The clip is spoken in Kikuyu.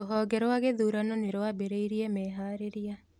Rũhonge rwa gĩthurano nĩrwambĩrĩirie meharĩria